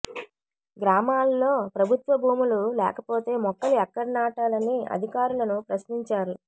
గ్రామాల్లో ప్రభుత్వ భూములు లేకపోతే మొక్కలు ఎక్కడ నాటాలని అధికారులను ప్రశ్నించారు